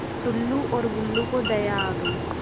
टुल्लु और बुल्लु को दया आ गई